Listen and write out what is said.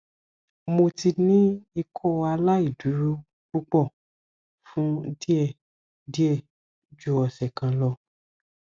mo ti ni ikọaláìdúró pupọ fun diẹ diẹ ju ọsẹ kan lọ